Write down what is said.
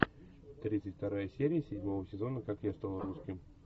тридцать вторая серия седьмого сезона как я стал русским